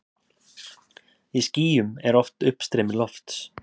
Í skýjum er oft uppstreymi lofts.